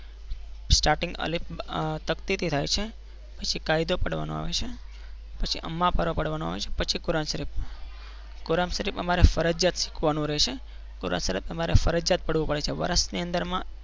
starting અલી તકતીથી થાય છે, પછી કાયદો પડવાનો આવે છે પછી એમના પાર પાડવાનો આવે છે પછી કુરાન શરીફ કુરાન શરીફ અમારે ફરજિયાત શીખવાનું રહેશે કુરાન શરીફ અમારે ફરજિયાત પડવું પડે છે વર્ષની અંદરમાં